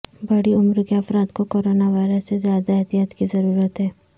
بڑی عمر کے افراد کو کرونا وائرس سے زیادہ احتیاط کی ضرورت ہے